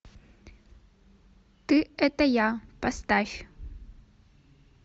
ты это я поставь